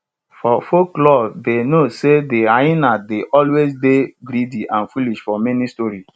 for folklore dey know sey de hyena dey always dey greedy and foolish for many story